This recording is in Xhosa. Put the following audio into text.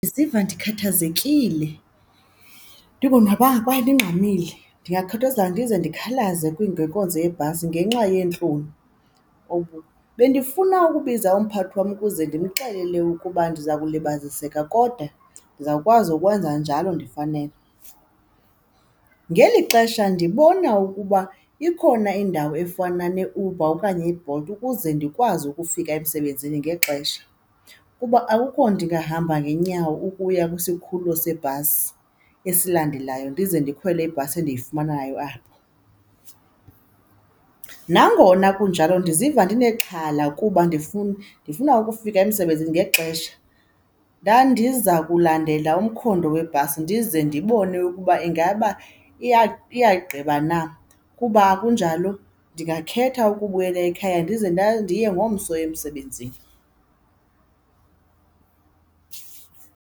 Ndiziva ndikhathazekile, ndingonwabanga kwaye ndingxamile, ndingakhathazeka ndize ndikhalaze kwiindleko zebhasi ngenxa yentlonti. Bendifuna ukubiza umphathi wam ukuze ndimxelele ukuba ndiza kulibaziseka kodwa ndizawukwazi ukwenza njalo ndifanele. Ngeli xesha ndibona ukuba ikhona indawo efana neUber okanye iBolt ukuze ndikwazi ukufika emsebenzini ngexesha kuba akukho ndingahamba ngeenyawo ukuya kwisikhululo sebhasi esilandelayo ndize ndikhwele ibhasi endiyifumanayo apho. Nangona kunjalo ndiziva ndinexhala kuba ndifuna, ndifuna ukufika emsebenzini ngexesha, ndandiza kulandela umkhondo webhasi ndize ndibone ukuba ingaba iyagqiba na. Ukuba akunjalo ndingakhetha ukubuyela ekhaya ndize ndiye ngomso emsebenzini.